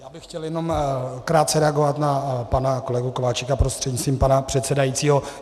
Já bych chtěl jenom krátce reagovat na pana kolegu Kováčika prostřednictvím pana předsedajícího.